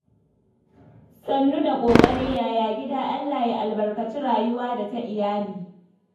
Sannu da ƙoƙari, yaya gida? Allah ya albarkaci rayuwa da ta iyali.